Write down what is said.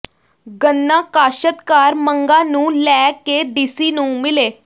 ਗੰਨਾ ਕਾਸ਼ਤਕਾਰ ਮੰਗਾਂ ਨੂੰ ਲੈ ਕੇ ਡੀਸੀ ਨੂੰ ਮਿਲੇ